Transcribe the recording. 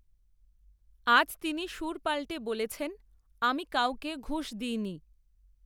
আজ তিনি সুর পাল্টে বলেছেন, আমি কাউকে ঘুষ দিইনি